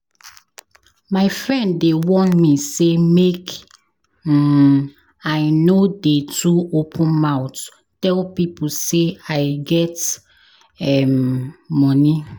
My friend dey warn me sey make um I no dey too open mouth tell pipo sey I get um money.